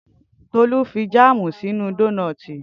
Tolu fi jáàmù sínú dónọ́tì